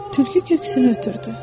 Tülkü köksünü ötürdü.